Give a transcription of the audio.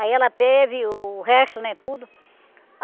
Aí ela teve o resto, né, tudo.